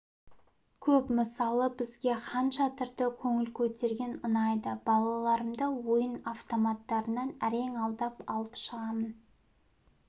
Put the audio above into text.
көп мысалы бізге хан шатырда көңіл көтерген ұнайды балаларымды ойын автоматтарынан әрең алдап алып шығамын